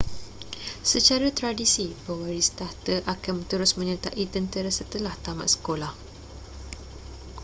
secara tradisi pewaris takhta akan terus menyertai tentera setelah tamat sekoloah